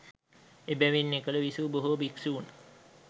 එබැවින් එකල විසූ බොහෝ භික්‍ෂූන්